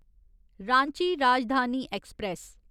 Ranchi Rajdhani express